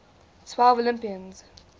twelve olympians